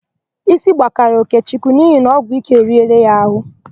Ísí gbakara Okechukwu n'ihi na ọgwụike eriela ya àhụ́.